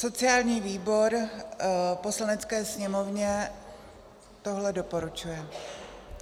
Sociální výbor Poslanecké sněmovně tohle doporučuje.